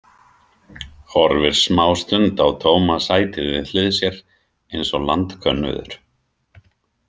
Horfir smástund á tóma sætið við hlið sér, eins og landkönnuður.